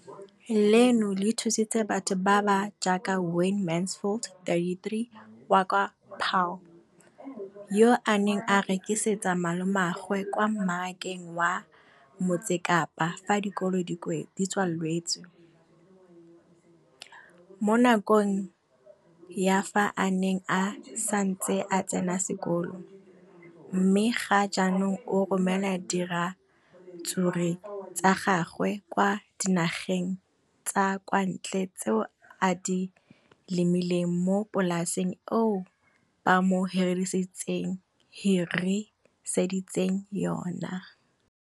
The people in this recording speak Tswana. Leno le thusitse batho ba ba jaaka Wayne Mansfield, 33, wa kwa Paarl, yo a neng a rekisetsa malomagwe kwa Marakeng wa Motsekapa fa dikolo di tswaletse, mo nakong ya fa a ne a santse a tsena sekolo, mme ga jaanong o romela diratsuru tsa gagwe kwa dinageng tsa kwa ntle tseo a di lemileng mo polaseng eo ba mo hiriseditseng yona.